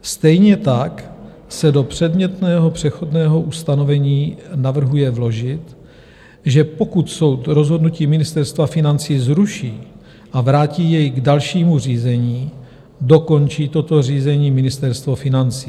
Stejně tak se do předmětného přechodného ustanovení navrhuje vložit, že pokud soud rozhodnutí Ministerstva financí zruší a vrátí jej k dalšímu řízení, dokončí toto řízení Ministerstvo financí.